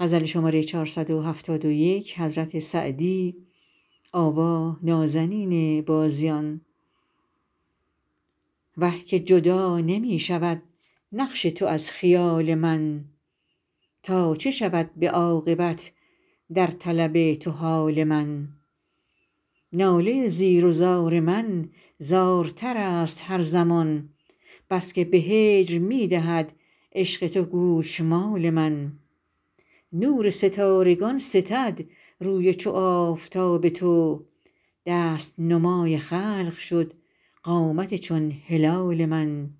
وه که جدا نمی شود نقش تو از خیال من تا چه شود به عاقبت در طلب تو حال من ناله زیر و زار من زارتر است هر زمان بس که به هجر می دهد عشق تو گوشمال من نور ستارگان ستد روی چو آفتاب تو دست نمای خلق شد قامت چون هلال من